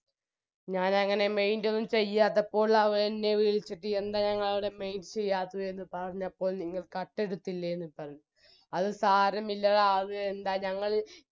ഞാനങ്ങനെ mind ഒന്നും ചെയ്യാത്തപ്പോൾ അവരെന്നെ വിളിച്ചിട്ട് എന്താ ഞങ്ങളുടെ mind ചെയ്യാത്തത് എന്ന് പറഞ്ഞപ്പോൾ നിങ്ങൾ കട്ടെടുത്തില്ലേ എന്ന് പറഞ്ഞ് അത് സാരമില്ലെടാ അത് എന്താ ഞങ്ങൾ